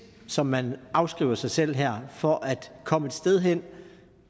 som man afskriver sig selv her for at komme et sted hen